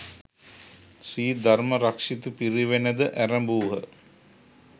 ශ්‍රී ධර්මරක්‍ෂිත පිරිවෙනද ඇරැඹූහ.